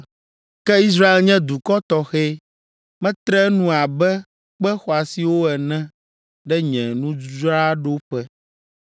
Ke Israel nye dukɔ tɔxɛ; metre enu abe kpe xɔasiwo ene ɖe nye nudzraɖoƒe.